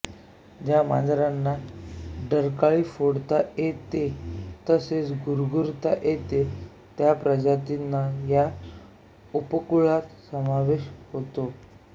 ज्या मांजरांना डरकाळी फोडता येते तसेच गुरगुरता येते त्या प्रजातींचा या उपकुळात समावेश होतो